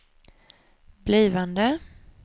blivande